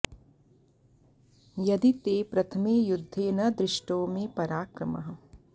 यदि ते प्रथमे युद्धे न दृष्टो मे पराक्रमः